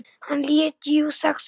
Hann lét jú SEXUNA.